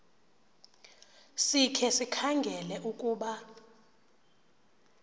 sikhe sikhangele ukuba